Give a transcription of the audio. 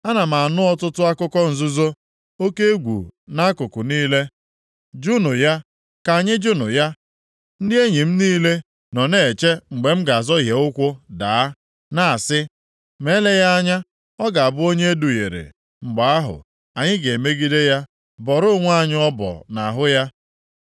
Ana m anụ ọtụtụ akụkọ nzuzo, “Oke egwu nʼakụkụ niile! Jụụnụ ya! Ka anyị jụụnụ ya!” Ndị enyi m niile nọ na-eche mgbe m ga-azọhie ụkwụ daa, na-asị, “Ma eleghị anya ọ ga-abụ onye eduhiere, mgbe ahụ, anyị ga-emegide ya, bọọrọ onwe anyị ọbọ nʼahụ ya.”